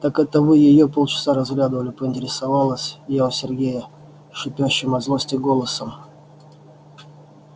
так это вы её полчаса разглядывали поинтересовалась я у сергея шипящим от злости голосом